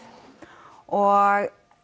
og